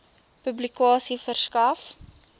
publikasie verskaf